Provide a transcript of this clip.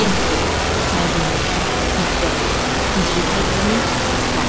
Yəsrib, Mədinə, Hicrət, Hicri təqvimi, İslam.